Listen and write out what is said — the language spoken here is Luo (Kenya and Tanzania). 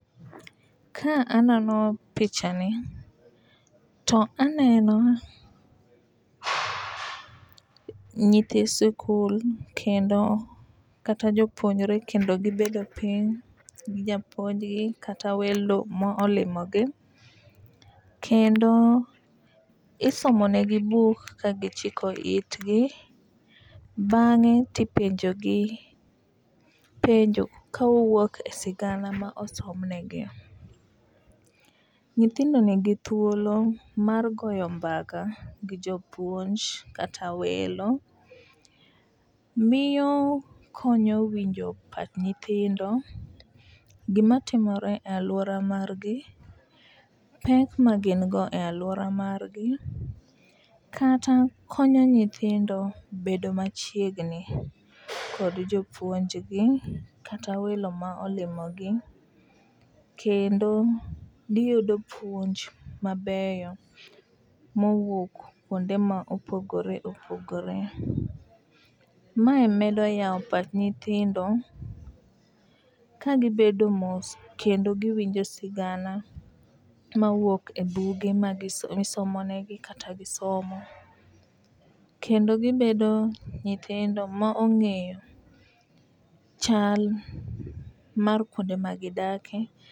Ka anono picha ni to aneno nyithi sikul kendo kata jopuonjre kendo gibedo piny gi japuonjgi kata welo molimo gi . Kendo isomo ne gi buk ka gichiko itgi bang'e tipenjo gi penjo kowuok e sigana ma osom negi. Nyithindo nigi thuolo mar goyo mbaka gi jopuonj kata welo. Miyo konyo winjo pach nyithindo gimatimore e aluora margi ,pek ma gin go e luora mar gi kata konyo nyithindo bedo machiegni kod jopuonjgi kata welo ma olimo gi kendo giyudo puonj mabeyo mowuok kuonde ma opogore opogore . Mae medo yawo pach nyithindo kagibedo mos kendo giwinjo sigana mawuok e buge ma gi isomo ne gi kata gisomo kendo gibedo nyithindo ma ong'eyo chal mar kuonde ma gidake.